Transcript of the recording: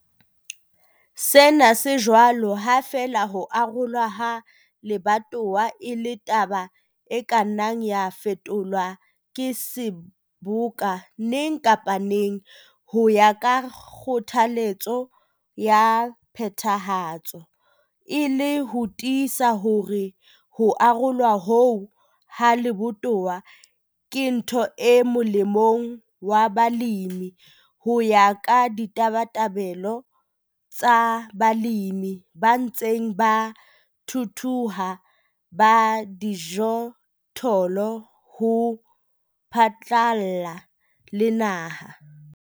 Sena se jwalo ha feela ho arolwa ha lebatowa e le taba e ka nnang ya fetolwa ke Seboka neng kapa neng ho ya ka kgothalletso ya Phethahatso, e le ho tiisa hore ho arolwa hoo ha lebatowa ke ntho e molemong wa balemi ho ya ka ditabatabelo tsa balemi ba ntseng ba thuthuha ba dijothollo ho phatlalla le naha.